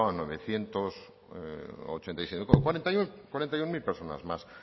novecientos ochenta y siete cuarenta y uno mil personas más